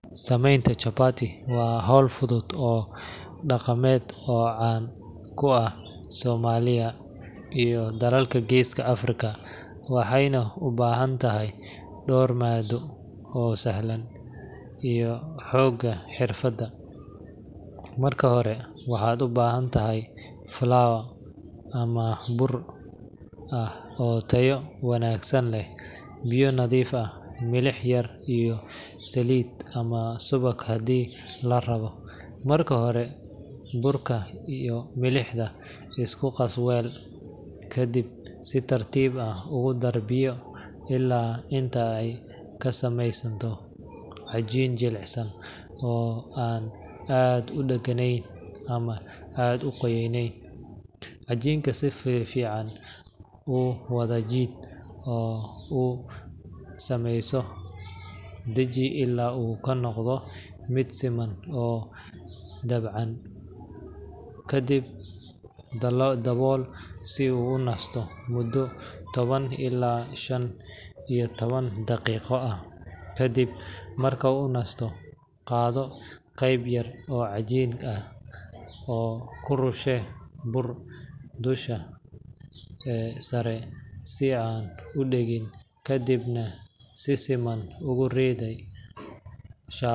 Samaynta chapati waa hawl fudud oo dhaqameed oo caan ku ah Soomaaliya iyo dalalka geeska Afrika, waxayna u baahan tahay dhowr maaddo oo sahlan iyo xoogaa xirfad. Marka hore, waxaad u baahan tahay flour ama bur ah oo tayo wanaagsan leh, biyo nadiif ah, milix yar, iyo saliid ama subag haddii la rabo. Marka hore, burka iyo milixda isku qas weel, kadibna si tartiib ah ugu dar biyo ilaa inta ay ka samaysanto cajiin jilicsan oo aan aad u dhaganayn ama aad u qoyanayn. Cajiinka si fiican u wada jiid oo u daji ilaa uu noqdo mid siman oo dabacsan, ka dibna dabool si uu u nasto muddo toban ilaa shan iyo toban daqiiqo ah. Kadib marka uu nasto, qaado qayb yar oo cajiinka ah oo ku rushee bur dusha sare si aanu u dhegin, kadibna si siman ugu riday.